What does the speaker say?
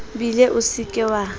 bele o se ke wa